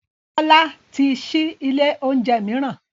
Bọ́lá ti ṣí ilé oúnjẹ mìíràn